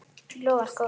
Lofar góðu!